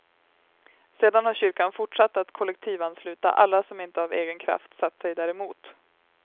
Sedan har kyrkan fortsatt att kollektivansluta alla som inte av egen kraft satt sig däremot.